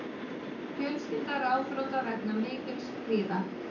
Fjölskylda ráðþrota vegna mikils kvíða